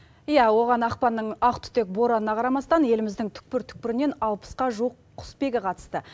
иә оған ақпанның ақтүтек боранына қарамастан еліміздің түкпір түкпірінен алпысқа жуық құсбегі қатысты